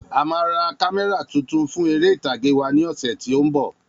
A má ra kámẹ́rà tuntun fún eré ìtàge wa ni ọsẹ tí o nbọ